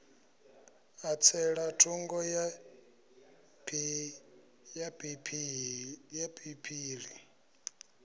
a tsela thungo ya phiphiḓi